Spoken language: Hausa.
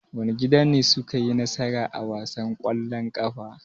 Wane gida ne suka yi nasara a wasan ƙwallon ƙafan?